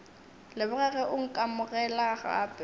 leboga ge o nkamogela gape